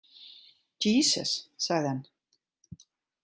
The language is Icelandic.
Djísus, sagði hann.